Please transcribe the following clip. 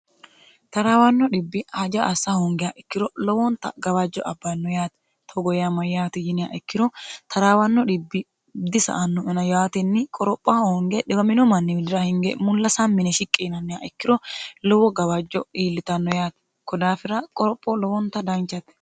taraawanno dhibbi haja assa hoongeha ikkiro lowonta gawajjo abbanno yaate togo yaa mayate yiniha ikkiro taraawanno dhibbi disa'anoena yaatinni qoropha honge dhiwamino manni widira hinge mulla sami yine shiqqii yinannihaa ikkiro lowo gawajjo iillitanno yaati koni daafira qoropho lowonta danchate